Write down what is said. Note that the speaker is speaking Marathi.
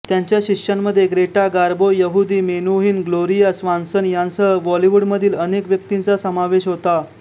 त्यांच्या शिष्यांमध्ये Greta Garbo Yehudi Menuhin Gloria Swanson यांसह हॉलिवूडमधील अनेक व्यक्तींचा समावेश होता